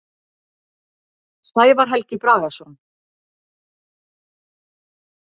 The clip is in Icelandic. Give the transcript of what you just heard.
Sævar Helgi Bragason.